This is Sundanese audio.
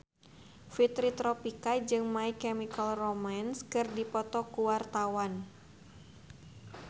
Fitri Tropika jeung My Chemical Romance keur dipoto ku wartawan